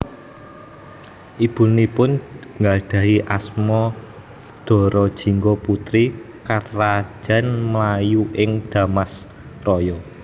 Ibunipun nggadhahi asma Dara Jingga putri Karajan Melayu ing Dharmasraya